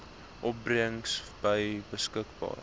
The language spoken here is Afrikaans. opbrengs by beskikking